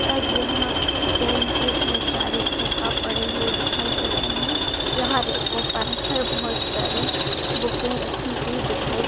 और यहाँ पेन की बहुत सारे खोका पड़े हुए दिखाई दे रहे है यहाँ रैको पर बहुत सारी बूके रखी हुई दिखाई--